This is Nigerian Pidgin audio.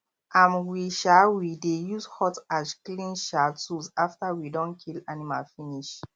um we um we dey use hot ash clean um tools after we don kill animal finish